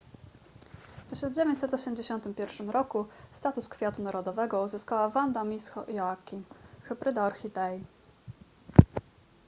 w 1981 roku status kwiatu narodowego uzyskała vanda miss joaquim hybryda orchidei